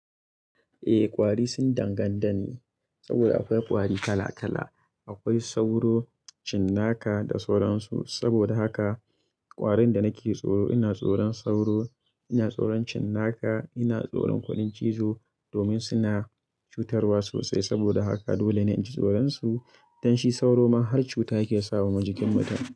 Eh kwari sun danganta ne saboda akwai kwari kala kala. Akwai sauro, cinnaka da sauransu. Saboda haka kwarin da nake tsoro ina tsoron sauro, ina tsoron cinnaka, ina tsoron kudan cizo domin suna cutarwa sosai. Saboda haka dole ne in ji tsoron su dan shi sauro ma har cuta yake sawa jikin mutum.